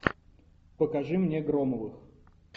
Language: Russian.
покажи мне громовых